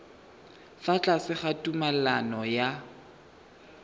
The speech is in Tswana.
fa tlase ga tumalano ya